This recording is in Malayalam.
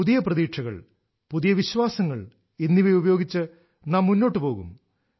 പുതിയ പ്രതീക്ഷകൾ പുതിയ വിശ്വാസങ്ങൾ എന്നിവ ഉപയോഗിച്ച് നാം മുന്നോട്ട് പോകും